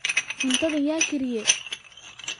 cuntadhan yaa kariye